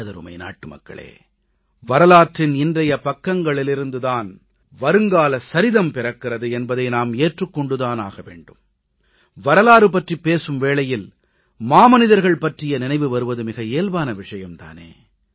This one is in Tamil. எமதருமை நாட்டுமக்களே வரலாற்றின் இன்றைய பக்கங்களிலிருந்து தான் வருங்கால சரிதம் பிறக்கிறது என்பதை நாம் ஏற்றுக் கொண்டு தான் ஆக வேண்டும் வரலாறு பற்றிப் பேசும் வேளையில் மாமனிதர்கள் பற்றிய நினைவு வருவது மிகவும் இயல்பான விஷயம் தானே